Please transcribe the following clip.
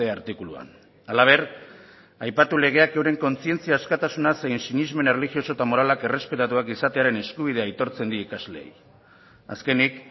artikuluan halaber aipatu legeak euren kontzientzia askatasuna zein sinesmen erlijioso eta moralak errespetatuak izatearen eskubidea aitortzen die ikasleei azkenik